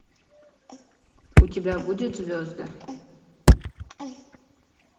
у тебя будет звезды